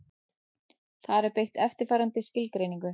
Þar er beitt eftirfarandi skilgreiningu: